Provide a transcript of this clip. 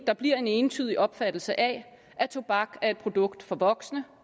der bliver en entydig opfattelse af at tobak er et produkt for voksne